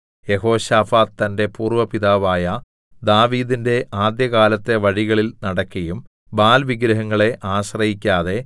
യെഹോശാഫാത്ത് തന്റെ പൂർവപിതാവായ ദാവീദിന്റെ ആദ്യകാലത്തെ വഴികളിൽ നടക്കയും ബാല്‍ വിഗ്രഹങ്ങളെ ആശ്രയിക്കാതെ